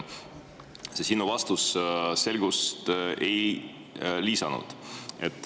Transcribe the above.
See sinu vastus selgust ei lisanud.